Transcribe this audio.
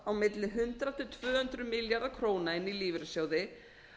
á milli hundrað til tvö hundruð milljarða króna inn í lífeyrissjóði